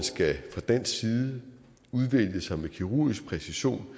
fra dansk side med kirurgisk præcision